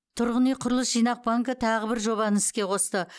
тұрғын үй құрылыс жинақ банкі тағы бір жобаны іске қосты